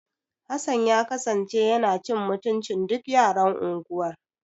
Hassan ya kasance yana cin mutuncin duk yaran unguwar.